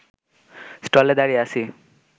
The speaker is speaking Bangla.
স্টলে দাঁড়িয়ে আছি